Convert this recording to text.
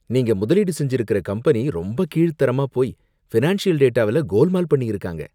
நீங்க முதலீடு செஞ்சிருக்கிற கம்பெனி ரொம்ப கீழ்த்தரமா போயி ஃபினான்ஷியல் டேட்டாவுல கோல்மால் பண்ணியிருக்காங்க.